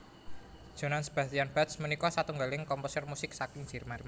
Johann Sebastian Bach punika satunggiling komposer musik saking Jerman